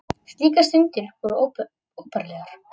Slíkar stundir voru óbærilegar.